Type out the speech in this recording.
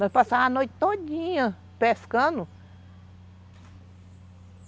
Nós passava a noite todinha pescando.